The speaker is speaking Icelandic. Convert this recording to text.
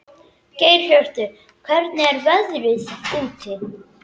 Geirhjörtur, hvernig er veðrið úti?